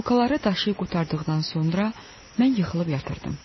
Bulkaları daşıyıb qurtardıqdan sonra mən yıxılıb yatırdım.